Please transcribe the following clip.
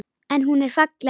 En hún er falleg.